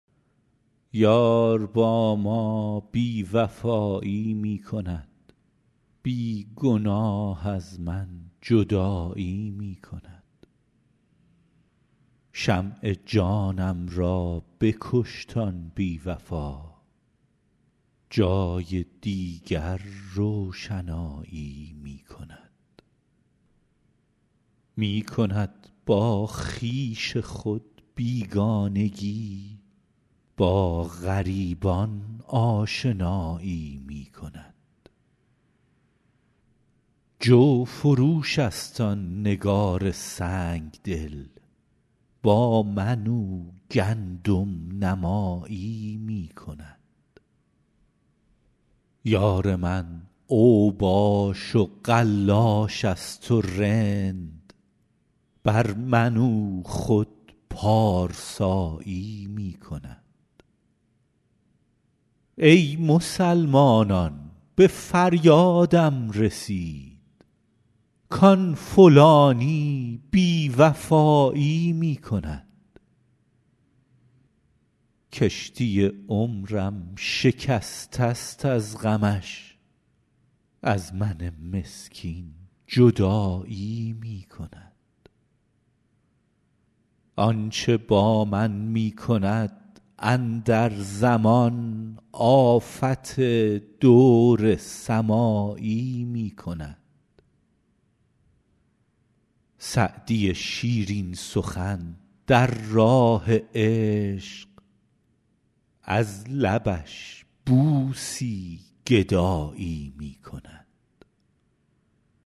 یار با ما بی وفایی می کند بی گناه از من جدایی می کند شمع جانم را بکشت آن بی وفا جای دیگر روشنایی می کند می کند با خویش خود بیگانگی با غریبان آشنایی می کند جوفروش است آن نگار سنگ دل با من او گندم نمایی می کند یار من اوباش و قلاش است و رند بر من او خود پارسایی می کند ای مسلمانان به فریادم رسید کآن فلانی بی وفایی می کند کشتی عمرم شکسته است از غمش از من مسکین جدایی می کند آن چه با من می کند اندر زمان آفت دور سمایی می کند سعدی شیرین سخن در راه عشق از لبش بوسی گدایی می کند